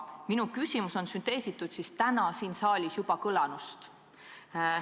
Minu küsimus ongi sünteesitud täna siin saalis juba kõlanust.